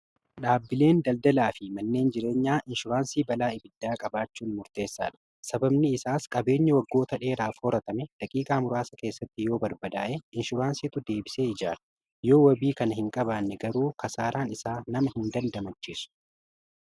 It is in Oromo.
Dhaabbileen daldalaa fi manneen jireenyaa inshuraansii balaa ibiddaa qabaachuun murteessaa dha. Sababni isaas qabeenya waggoota dheeraaf horatame daqiiqaa muraasa keessatti yoo barbadaa'e inshuraansiitu deebisee ijaara yoo wabii kana hin qabaanne garuu kasaaraan isaa nama hin dandamachiisu.